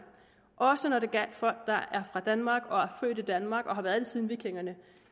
også når det gælder folk der er fra danmark og født i danmark og har været her siden vikingerne